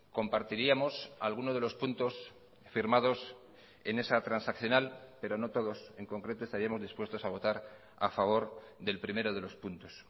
compartiríamos alguno de los puntos firmados en esa transaccional pero no todos en concreto estaríamos dispuestos a votar a favor del primero de los puntos